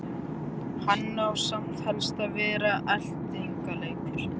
Hann á samt helst að vera eltingaleikur.